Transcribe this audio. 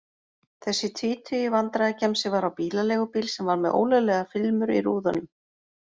Þessi tvítugi vandræðagemsi var á bílaleigubíl sem var með ólöglegar filmur í rúðunum.